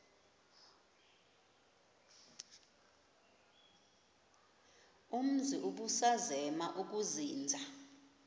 umzi ubusazema ukuzinza